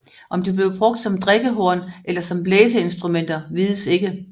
Om de blev brugt som drikkehorn eller som blæseinstrumenter vides ikke